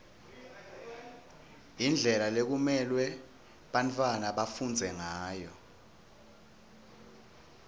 indlela lekumelwe bantfwana bafundze ngayo